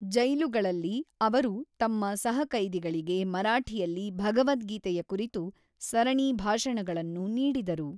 ಜೈಲುಗಳಲ್ಲಿ, ಅವರು ತಮ್ಮ ಸಹಕೈದಿಗಳಿಗೆ ಮರಾಠಿಯಲ್ಲಿ ಭಗವದ್ಗೀತೆಯ ಕುರಿತು ಸರಣಿ ಭಾಷಣಗಳನ್ನು ನೀಡಿದರು.